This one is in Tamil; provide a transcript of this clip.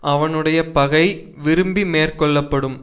அவனுடைய பகை விரும்பி மேற்கொள்ள படும்